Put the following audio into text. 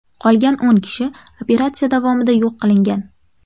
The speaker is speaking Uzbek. Qolgan o‘n kishi operatsiya davomida yo‘q qilingan.